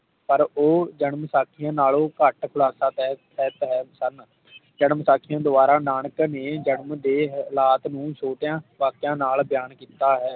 ਪਰ ਉਹ ਜਨਮਸਾਖੀ ਨਾਲੋਂ ਘੱਟ ਖੁਲਾਸਾ ਪੈ ਪੈ ਜਨਮਸਾਖੀ ਦਵਾਰਾ ਨਾਨਕ ਨੇ ਜਨਮ ਦੇ ਹਾਲਾਤ ਨੂੰ ਛੋਟਿਆਂ ਵਾਕਿਆ ਨਾਲ ਬਿਆਨ ਕੀਤਾ ਹੈ